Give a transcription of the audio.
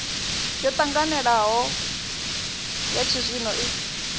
yo ṱanganelanaho ya tshizwino i